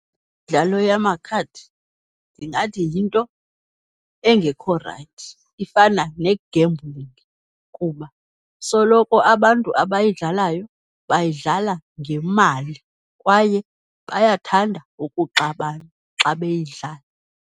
Imidlalo yamakhadi ndingathi yinto engokho rayithi, ifana negembhulingi kuba soloko abantu abayidlalayo bayidlala ngemali, kwaye bayathanda ukuxabana xa beyidlala.